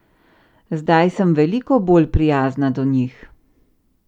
Zdaj sem veliko bolj prijazna do njih.